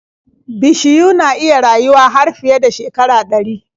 Bishiyu na iya rayuwa har fiye da shekara ɗari.